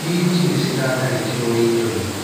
Minji nĩciratharĩkĩrwo nĩ nyoni.